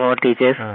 from और teachers